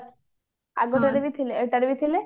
ଆଗଟାରେ ଥିଲେ ଏଇଟା ରେ ବି ଥିଲେ